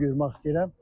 Bakını görmək istəyirəm.